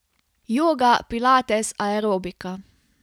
Joga, pilates, aerobika?